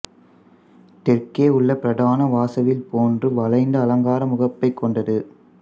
தெற்கேயுள்ள பிரதான வாசல் வில்போன்று வளைந்த அலங்கார முகப்பைக் கொண்டது